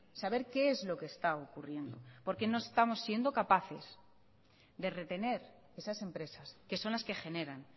saber qué es lo que está ocurriendo porque no estamos siendo capaces de retener esas empresas que son las que generan